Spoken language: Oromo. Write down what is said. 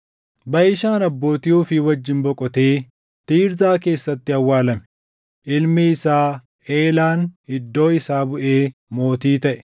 Baʼishaan abbootii ofii wajjin boqotee Tiirzaa keessatti awwaalame. Ilmi isaa Eelaan iddoo isaa buʼee mootii taʼe.